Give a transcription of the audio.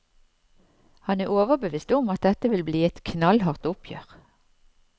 Han er overbevist om at dette vil bli et knallhardt oppgjør.